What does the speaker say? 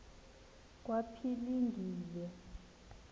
kwaphilingile